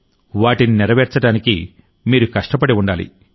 వాటిని నెరవేర్చడానికి మీరు కష్టపడి ఉండాలి